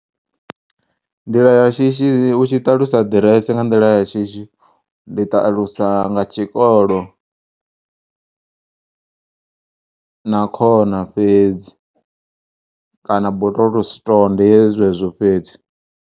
Nḓila ya shishi u tshi ṱalusa ḓiresi nga nḓila ya shishi ndi ṱalusa nga tshikolo na khona fhedzi kana bottle store ndi zwezwo fhedzi.